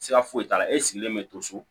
Siga foyi t'a la e sigilen bɛ to so